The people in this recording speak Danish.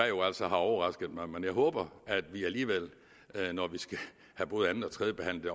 jo altså har overrasket mig men jeg håber at vi alligevel når vi skal have både anden og tredjebehandlet